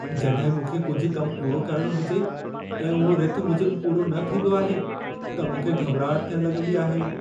जॾहिं मूंखे कुझु कम पूरो करणो हुजे ऐं उहो रिथ मूजिबि पूरो न थींदो आहे, त मूंखे घॿिराहटु थियणु लगं॒दी आहे।